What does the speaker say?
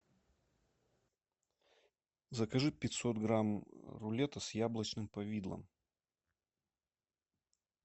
закажи пятьсот грамм рулета с яблочным повидлом